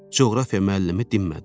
Coğrafiya müəllimi dinmədi.